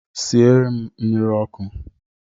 Siere m mmiri ọkụ!